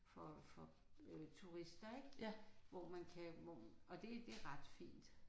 For for øh turister ik. Hvor man kan hvor og det det er ret fint